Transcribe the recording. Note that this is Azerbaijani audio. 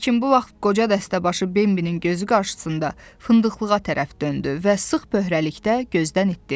Lakin bu vaxt qoca dəstəbaşı Bembilin gözü qarşısında fındıqlığa tərəf döndü və sıx böhrəlikdə gözdən itdə.